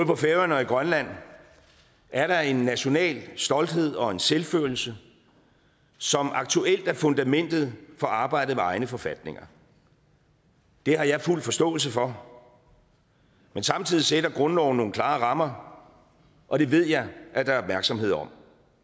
på færøerne og i grønland er der en national stolthed og en selvfølelse som aktuelt er fundamentet for arbejdet med egne forfatninger det har jeg fuld forståelse for men samtidig sætter grundloven nogle klare rammer og det ved jeg at der er opmærksomhed om